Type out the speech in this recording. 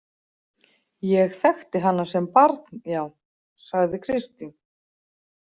Ég þekkti hana sem barn, já, sagði Kristín.